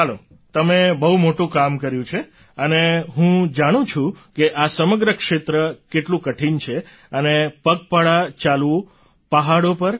ચાલો તમે બહુ મોટું કામ કર્યું છે અને હું જાણું છું કે આ સમગ્ર ક્ષેત્ર કેટલું કઠિન છે અને પગપાળા ચાલવું પહાડો પર